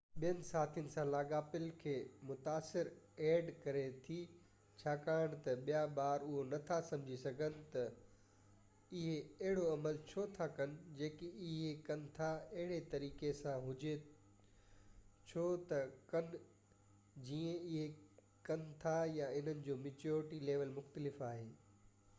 add ٻين ساٿين سان لاڳاپن کي متاثر ڪري ٿي ڇاڪاڻ ته ٻيا ٻار اهو نٿا سمجهي سگهن ته اهي اهڙو عمل ڇو ٿا ڪن جيڪي اهي ڪن ٿا اهڙي طريقي سان هجي ڇو ٿا ڪن جيئن اهي ڪن ٿا يا انهن جو ميچيورٽي ليول مختلف آهي